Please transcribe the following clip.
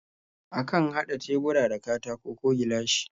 Akan haɗa tebura da katako ko gilashi.